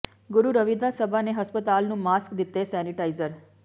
ਗੁਰੂ ਰਵਿਦਾਸ ਸਭਾ ਨੇ ਹਸਪਤਾਲ ਨੂੰ ਮਾਸਕ ਦਿੱਤੇ ਸੈਨੇਟਾਈਜ਼ਰ